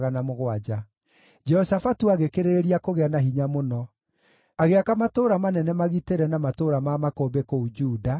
Jehoshafatu agĩkĩrĩrĩria kũgĩa na hinya mũno; agĩaka matũũra manene magitĩre na matũũra ma makũmbĩ kũu Juda,